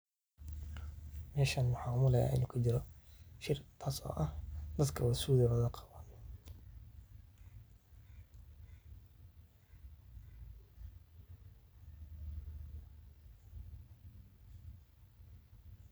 Meshan mxaa u malayaa in uu ku jiro shiir taas oo aah datko dhan suit ayee wada qabaan .